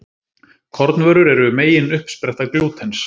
Kornvörur eru megin uppspretta glútens.